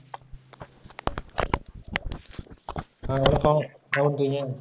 ஆஹ் வணக்கம்